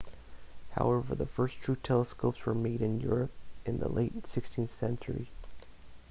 however the first true telescopes were made in europe in the late 16th century